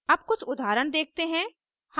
अब कुछ उदाहरण देखते हैं